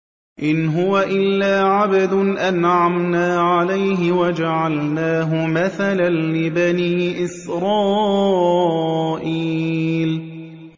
إِنْ هُوَ إِلَّا عَبْدٌ أَنْعَمْنَا عَلَيْهِ وَجَعَلْنَاهُ مَثَلًا لِّبَنِي إِسْرَائِيلَ